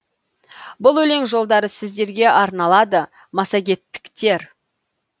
бұл өлең жолдары сіздерге арналады массагеттіктер